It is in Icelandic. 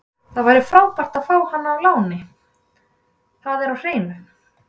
Það væri frábært að fá hann á láni, það er á hreinu.